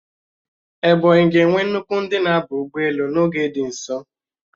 Ebonyi ga-enwe nnukwu ndị na-aba ụgbọelu n'oge dị nso